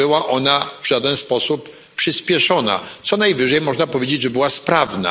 Nie była ona w żaden sposób przyspieszona, co najwyżej można powiedzieć, że była sprawna.